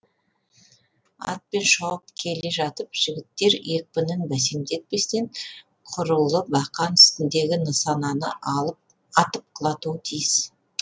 атпен шауып келе жатып жігіттер екпінін бәсеңдетпестен құрулы бақан үстіндегі нысананы атып құлатуы тиіс